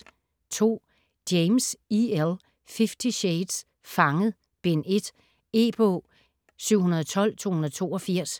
James, E. L.: Fifty shades: Fanget: Bind 1 E-bog 712282